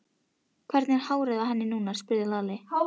Hvernig er hárið á henni núna? spurði Lalli.